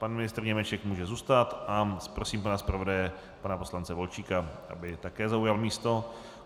Pan ministr Němeček může zůstat a prosím pana zpravodaje, pana poslance Volčíka, aby také zaujal místo.